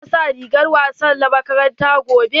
Za ka sa rigar wasa na makaranta gobe?